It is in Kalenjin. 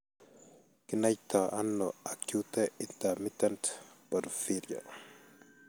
Kinaitano acute intermittent porphyria ?